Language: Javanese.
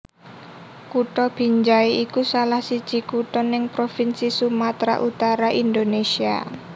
Kutha Binjai iku salahsiji kutha neng provinsi Sumatra Utara Indonésia